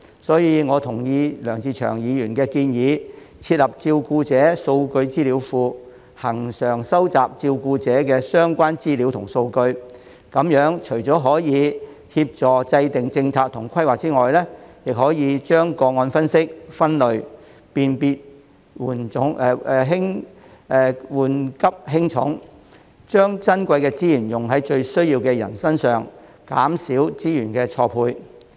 所以，我同意梁志祥議員的建議，設立照顧者數據資料庫，恆常收集照顧者的相關資料和數據，這樣除了可以協助制訂政策及規劃外，也可將個案分析、分類，辨別緩急輕重，把珍貴的資源用在最需要的人身上，減少資源錯配。